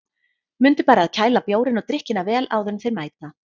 Mundu bara að kæla bjórinn og drykkina vel áður en þeir mæta.